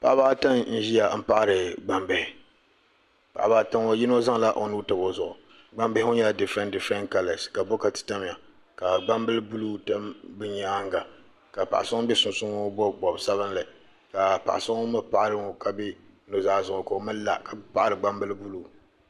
Paɣaba ata n ʒia m paɣari gnambihi paɣaba ata ŋɔ yino zaŋla o nuu tabi o zuɣu gbambihi ŋɔ nyɛla difiren difiren kala ka bokati tamya ka gbambili buluu be nyaanga ka paɣa so ŋun be sunsuuni ŋɔ bobi bobga bobsabi ka paɣa so ŋun mee paɣari ŋɔ ka be nuzaa zuɣu ka la ka paɣari gbambili buluu.